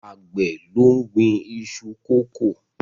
Àgbẹ̀ ló ń gbin iṣu kókò.